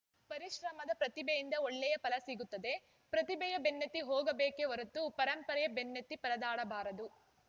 ಪರಿಶ್ರಮದ ಪ್ರತಿಭೆಯಿಂದ ಒಳ್ಳೆಯ ಫಲ ಸಿಗುತ್ತದೆ ಪ್ರತಿಭೆಯ ಬೆನ್ನತ್ತಿ ಹೋಗಬೇಕೇ ಹೊರತು ಪರಂಪರೆಯ ಬೆನ್ನತ್ತಿ ಪರದಾಡಬಾರದು